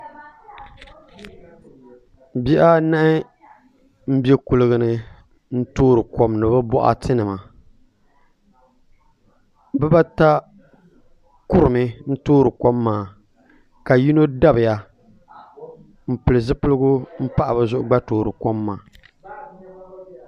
Bihi anahi n bɛ kuligi ni n toori kom ni bi boɣati nima bibata kurimi n toori kom maa ka yino dabiya n pili zipiligu n pahi bi zuɣu gba toori kom maa